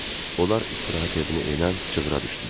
Onlar istirahət evinə enən cığıra düşdülər.